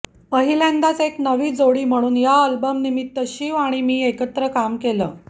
पहिल्यांदाच एक नवी जोडी म्हणून या अल्बमनिमित्त शिव आणि मी एकत्र काम केलं